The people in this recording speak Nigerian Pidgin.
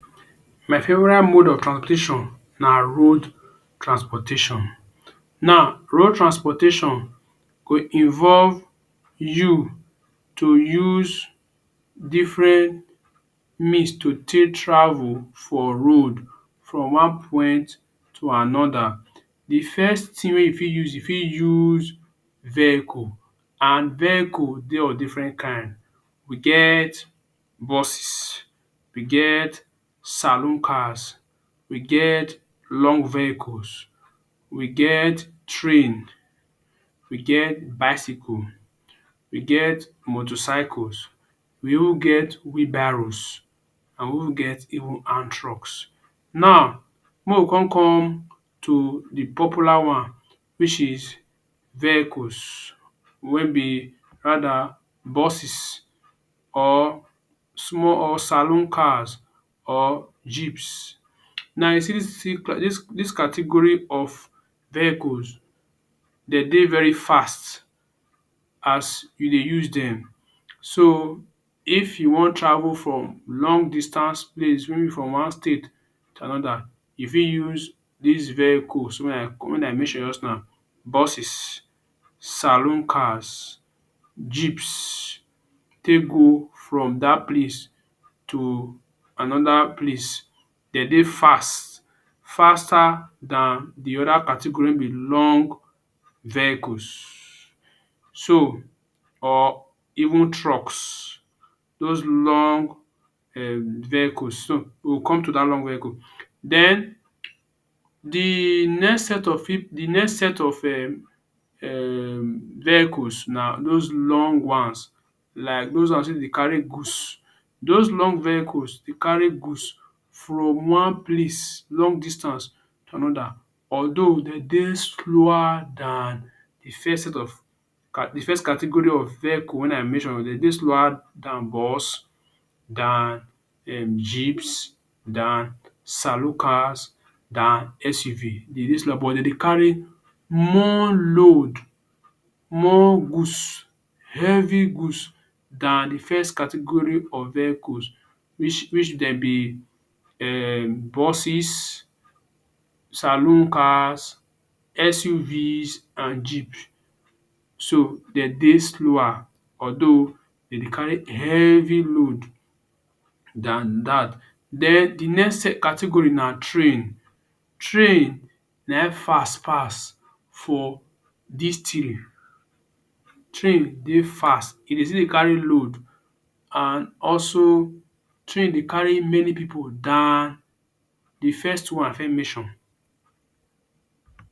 My favorite mode of transportation na road transportation. Now, road transportation go involve you to use different means to take travel for road from one point to another. The first thing wey you fit use, you fit use vehicle and vehicle dey of different kind. We get busses, we get saloon cars, we get long vehicles, we get train, we get bicycle, we get motorcycle, we even get wheelbarrows and we even get even hand trucks. Now, make we con come to the popular one which is vehicles wey be rather busses or small or saloon cars or jeeps. Now you see dis dis dis category of vehicles, de dey very fast as you dey use dem. So, if you wan travel from long distance place maybe from one state to another, you fit use dis vehicle wey i call wey i mention just now busses, saloon cars, jeeps take go from dat place to another place. De dey fast faster dan the other category with long vehicles. So, or even trucks. Dos long um vehicle so, we go come to dat long vehicle. Den the next of the next set of um um vehicles na dos long ones like dos ones wey dey carry goods. Dos long vehicle dey carry goods from one place long distance to another. Although de dey slower dan the first set of the first category of vehicle when i mention. De dey slower dan buss, dan um jeeps, dan saloon cars, dan SUV. De dey slower but de dey carry more load more goods, heavy goods dan the first category of vehicle which which dem be um busses saloon cars, SUV and jeep. So, de dey slower although de dey carry heavy load dan dat. Den the next category na train. Train na im fast pass for dis three. Train dey fast e dey still dey carry load and also train dey carry many pipu dan the first two wey i first mention.